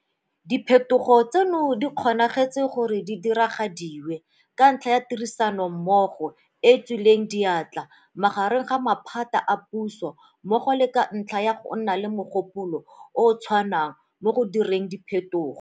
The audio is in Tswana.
Diphetogo tseno di kgonagetse gore di diragadiwe ka ntlha ya tirisanommogo e e tswileng diatla magareng ga maphata a puso mmogo le ka ntlha ya go nna le mogopolo o o tshwanang mo go direng diphetogo.